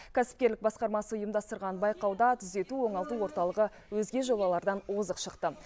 кәсіпкерлік басқармасы ұйымдастырған байқауда түзету оңалту орталығы өзге жобалардан озық шықты